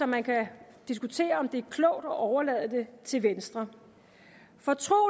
man kan diskutere om det er klogt at overlade det til venstre for tro